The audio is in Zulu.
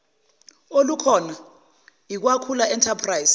olukhona kwakhula enterprise